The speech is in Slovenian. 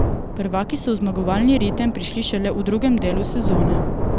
Prvaki so v zmagovalni ritem prišli šele v drugem delu sezone.